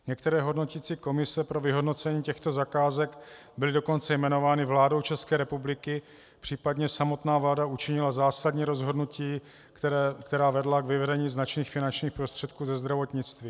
Některé hodnoticí komise pro vyhodnocení těchto zakázek byly dokonce jmenovány vládou České republiky, případně samotná vláda učinila zásadní rozhodnutí, která vedla k vyvedení značných finančních prostředků ze zdravotnictví.